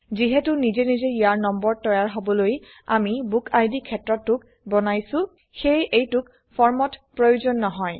যিহেতু নিজে নিজে ইয়াৰ নম্বৰ তৈয়াৰ হবলৈআমি বুকিড ক্ষেত্ৰটোক বনাইছো সেয়ে এইটোক ফৰ্মত প্ৰয়োজন নহয়